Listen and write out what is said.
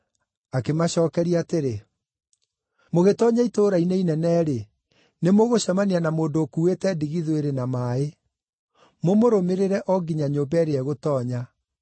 Akĩmacookeria atĩrĩ, “Mũgĩtoonya itũũra-inĩ inene-rĩ, nĩmũgũcemania na mũndũ ũkuuĩte ndigithũ ĩrĩ na maaĩ. Mũmũrũmĩrĩre o nginya nyũmba ĩrĩa egũtoonya.